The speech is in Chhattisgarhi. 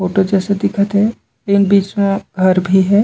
फोटो जैसे दिखत हे इहा बीच में घर भी हे।